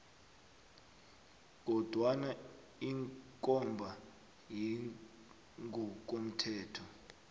kodwana ikomba yangokomthetho